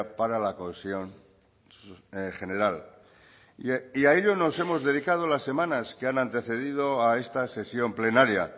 para la cohesión general y a ello nos hemos dedicado las semanas que han antecedido a esta sesión plenaria